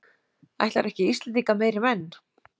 Ætlarðu ekki Íslendinga meiri menn?